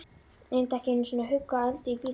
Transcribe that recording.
Reyndi ekki einu sinni að hugga Öldu í bílnum.